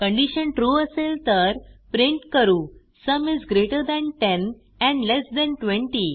condition true असेल तर print करू sum is greater than 10 and less than 20